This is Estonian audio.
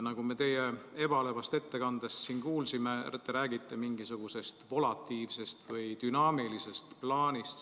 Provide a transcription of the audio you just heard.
Nagu me teie ebalevast ettekandest kuulsime, te räägite mingisugusest volatiivsest või dünaamilisest plaanist.